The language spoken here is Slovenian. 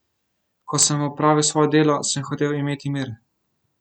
Ko sem opravil svoje delo, sem hotel imeti mir.